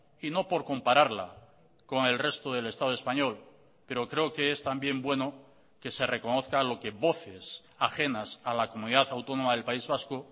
y no por compararla con el resto del estado español pero creo que es también bueno que se reconozca lo que voces ajenas a la comunidad autónoma del país vasco